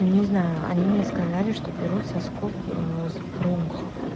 ну не знаю они мне сказали что берут соскоб с бронхов